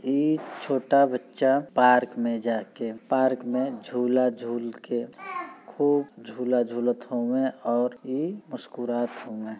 इ छोटा बच्चा पार्क में जाकर पार्क में झूला झूल के खूब झूला झूलत होमे और ई मुस्करात होमे।